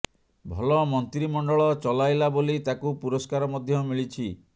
ଭଲ ମନ୍ତ୍ରିମଣ୍ଡଳ ଚଲାଇଲା ବୋଲି ତାକୁ ପୁରସ୍କାର ମଧ୍ୟ ମିଳିଛି